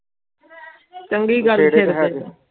ਚੰਗੀ ਗੱਲ ਸੀ